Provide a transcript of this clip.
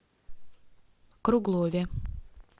круглове